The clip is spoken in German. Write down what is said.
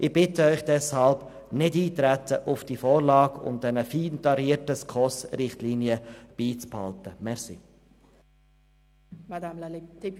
Deshalb bitte ich Sie, nicht auf die Vorlage einzutreten und die fein tarierten SKOS-Richtlinien beizubehalten.